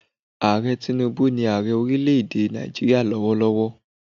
Ààrẹ Tinúbú ni Ààrẹ orílẹ̀ èdè Nàìjíríà lówólówó